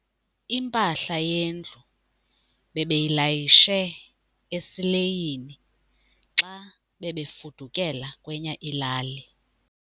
Impahla yendlu bebeyilayishe esileyini xa bebefudukela kwenye ilali.